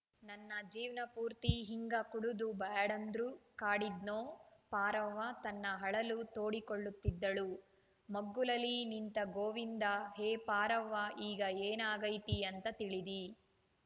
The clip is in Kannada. ನನ್ನ ಜೀವ್ನಾಪೂರ್ತಿ ಹಿಂಗ ಕುಡುದು ಬ್ಯಾಡಂದ್ರೂ ಕಾಡಿದ್ನೋಪಾರವ್ವ ತನ್ನ ಅಳಲು ತೋಡಿಕೊಳ್ಳುತ್ತಿದ್ದಳು ಮಗ್ಗುಲಲಿ ನಿಂತ ಗೋವಿಂದ ಹೇ ಪಾರವ್ವ ಈಗ ಏನ ಆಗೈತಿ ಅಂತ ತಿಳಿದಿ